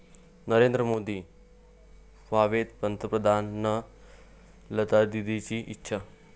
नरेंद्र मोदी व्हावेत पंतप्रधान, लतादीदींची इच्छा